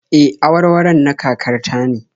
E, awarwaron na kakar ta ne